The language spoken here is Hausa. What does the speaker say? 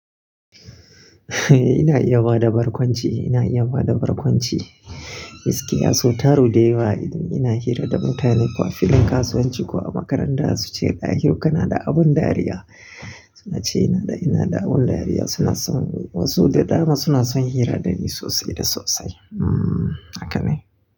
Ina iya bada barkwanci, ina iya bada barkwanci. Gaskiya sautari dayawa so ina hira da mutane ko a filin kasuwanci ko a makaranta su ce "dahiru kana da abun dariya." Su na ce ina da, ina da abun dariya suna son wasu da dama suna son hira da ni sosai da sosai. Hmm, haka ne.